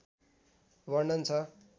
वर्णन छ